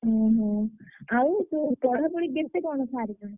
ଓହୋ! ଆଉ ତୁ ପଢାପଢି କେତେ କଣ ସାରିଲୁଣି?